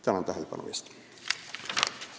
Tänan tähelepanu eest!